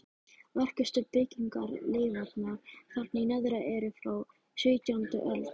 Merkustu byggingarleifarnar þarna í neðra eru frá sautjándu öld.